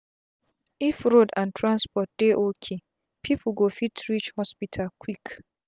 if road and transport dey ok pipu go fit reach hospital quick